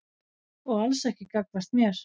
Og alls ekki gagnvart mér.